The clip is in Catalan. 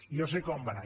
jo sé com va anar